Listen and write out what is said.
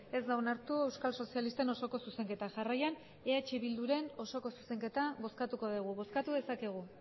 ez da onartu euskal sozialisten osoko zuzenketa jarraian eh bilduren osoko zuzenketa bozkatuko dugu bozkatu dezakegu